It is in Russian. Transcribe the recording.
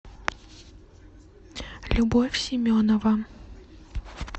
любовь семенова